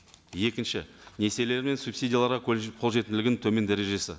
екінші несиелер мен субсидияларға қолжетімділігінің төмен дәрежесі